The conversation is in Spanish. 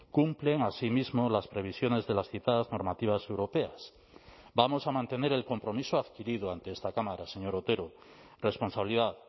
cumplen asimismo las previsiones de las citadas normativas europeas vamos a mantener el compromiso adquirido ante esta cámara señor otero responsabilidad